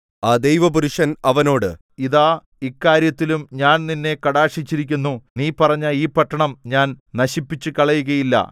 ആ ദൈവപുരുഷൻ അവനോട് ഇതാ ഇക്കാര്യത്തിലും ഞാൻ നിന്നെ കടാക്ഷിച്ചിരിക്കുന്നു നീ പറഞ്ഞ ഈ പട്ടണം ഞാൻ നശിപ്പിച്ചുകളയുകയില്ല